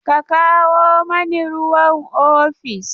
Ka kawo mani ruwan ofis!